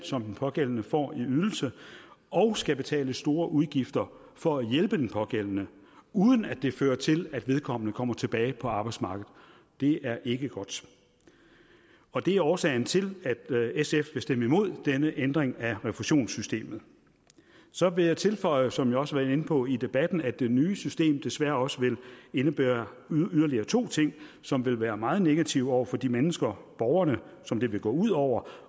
som den pågældende får i ydelse og skal betale store udgifter for at hjælpe den pågældende uden at det fører til at vedkommende kommer tilbage på arbejdsmarkedet det er ikke godt og det er årsagen til at sf vil stemme imod denne ændring af refusionssystemet så vil jeg tilføje som jeg også inde på i debatten at det nye system desværre også vil indebære yderligere to ting som vil være meget negative over for de mennesker borgerne som det vil gå ud over